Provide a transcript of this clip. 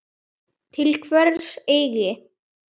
Til hvers eigin